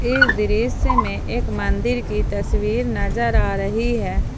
इस दृश्य में एक मंदिर की तस्वीर नजर आ रही है।